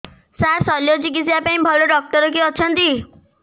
ସାର ଶଲ୍ୟଚିକିତ୍ସା ପାଇଁ ଭଲ ଡକ୍ଟର କିଏ ଅଛନ୍ତି